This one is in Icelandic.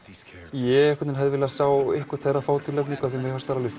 ég hefði viljað sjá einhvern þeirra fá tilnefningu því mér fannst þeir alveg